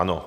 Ano.